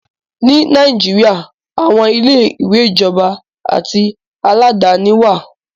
Ní Nàìjíríà, aàwọn ilé-ìwé ìjọba àti aládàáni wá à.